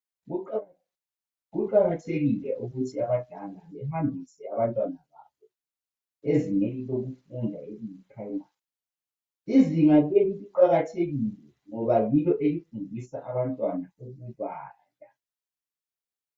Kuqakathekile ukuthi abazali bahambise abantwana babo ezingeni lemfundo ephansi lelizinga liqakathekile ngoba yikho abafunda khona ukubala.